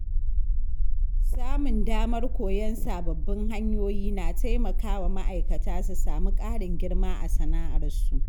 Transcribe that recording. Samun damar koyon sababbin hanyoyi na taimaka wa ma’aikata su samu ƙarin girma a sana’arsu.